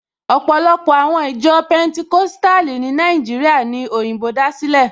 Ọ̀pọ̀lọpọ̀ àwọn ìjọ Pẹntikóstàlì ní Nàìjíríà ní òyìnbó dá sílẹ̀